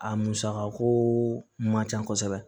A musakako man ca kosɛbɛ